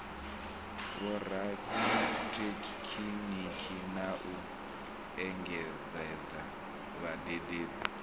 vhorathekhiniki na u engedzadza vhadededzi